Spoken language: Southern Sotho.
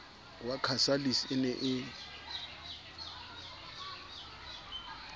wa casalis e ne e